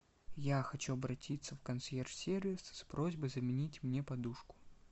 я хочу обратиться в консьерж сервис с просьбой заменить мне подушку